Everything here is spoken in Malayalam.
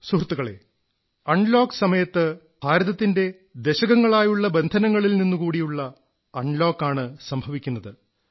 സുഹൃത്തുക്കളേ അൺലോക് സമയത്ത് ഭാരതത്തിന്റെ ദശകങ്ങളായുള്ള ബന്ധനങ്ങളിൽ നിന്നുകൂടിയുള്ള അൺലോക് ആണ് സംഭവിക്കുന്നത്